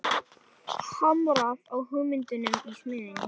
Hamrað á hugmyndum í smiðjunni